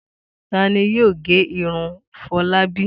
Ta ni yóò gé irun Fọlábí?